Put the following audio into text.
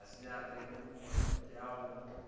e sa tekemego ya go